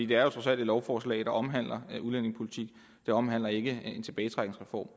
det er jo trods alt et lovforslag der omhandler udlændingepolitik det omhandler ikke en tilbagetrækningsreform